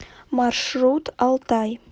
маршрут алтай